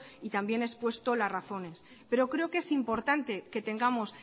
y también he expuesto las razones pero creo que es importante que tengamos